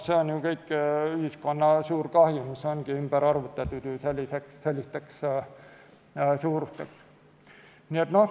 See kõik on ühiskonna suur kahju, mis ongi ümber arvutatud sellisteks suurusteks.